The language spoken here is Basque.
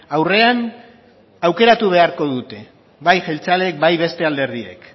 aurrean aukeratu beharko dute bai jeltzaleek bai beste alderdiek